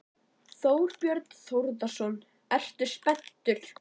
Þorbjörn Þórðarson: Ertu spenntur?